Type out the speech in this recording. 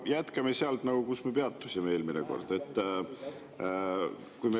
Jätkame sealt, kus me peatusime eelmine kord.